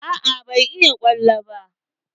Aa ban iya ƙwallo ba.